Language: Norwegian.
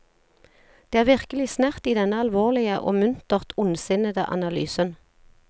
Det er virkelig snert i denne alvorlige og muntert ondsinnende analysen.